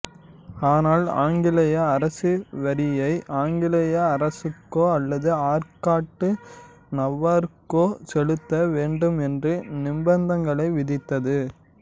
ஆனால் ஆங்கிலேய அரசு வரியை ஆங்கிலேயே அரசுக்கோ அல்லது ஆற்காட்டு நவாப்புக்கோ செலுத்த வேண்டும் என்று நிபந்தனைகளை விதித்தது